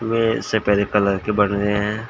ये सपेरे कलर के बने है।